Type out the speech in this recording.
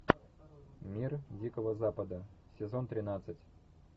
мир дикого запада сезон тринадцать